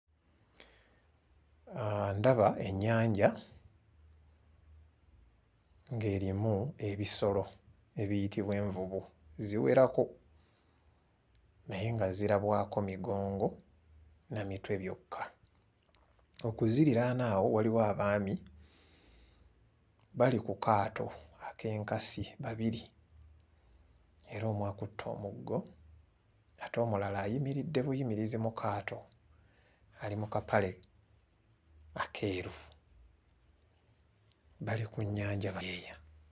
Aaa ndaba ennyanja ng'erimu ebisolo ebiyitibwa envubu ziwerako naye nga zirabwako migongo na mitwe byokka. Okuziriraana awo waliwo abaami bali ku kaato ak'enkasi babiri era omu akutte omuggo ate omulala ayimiridde buyimirizi mu kaato ali mu kapale akeeru bali ku nnyanja beeya